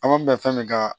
An b'an bila fɛn min kan